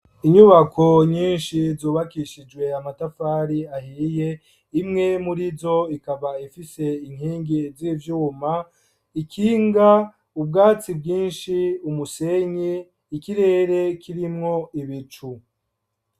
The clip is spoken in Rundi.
Inyubako nyinshi zubakishijwe yamatafari ahiye imwe muri zo ikaba ifise inkingi z'ivyuma ikinga ubwatsi bwinshi umusenye ikirere kirimwo ibicu.